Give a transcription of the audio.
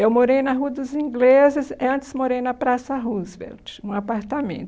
Eu morei na Rua dos Ingleses, eh antes morei na Praça Roosevelt, um apartamento.